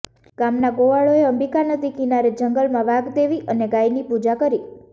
ગામના ગોવાળોએ અંબિકાનદી કિનારે જંગલમાં વાઘદેવી અને ગાયની પૂજા કરી